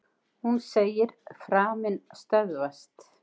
Hún segir: Framinn stöðvast.